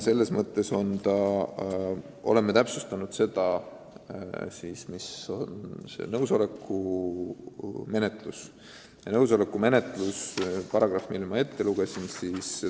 Sel eesmärgil me oleme täpsustanud nõusoleku menetlust.